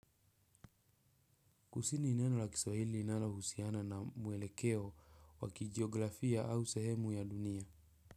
Kusini ni neno la Kiswahili linalohusiana na mwelekeo wa kijiografia au sehemu ya dunia.